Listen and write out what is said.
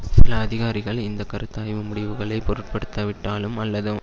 சில அதிகாரிகள் இந்த கருத்தாய்வு முடிவுகளை பொருட்படுத்தவிட்டாலும் அல்லது